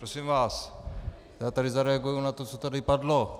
Prosím vás, já tady zareaguji na to, co tady padlo.